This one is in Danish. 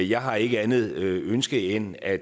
jeg har ikke andet ønske end at